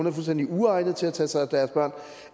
er fuldstændig uegnet til at tage sig af deres børn